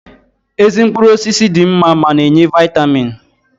Ezi mkpụrụ osisi dị mma ma na-enye Vaịtamiin